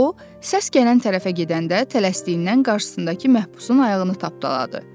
O səs gələn tərəfə gedəndə tələsdiyindən qarşısındakı məhbusun ayağını tapdaladı.